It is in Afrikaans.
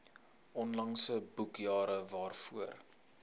onlangse boekjare waarvoor